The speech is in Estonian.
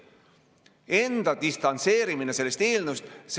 Enda distantseerumine sellest eelnõust!